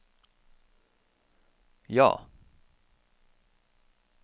ja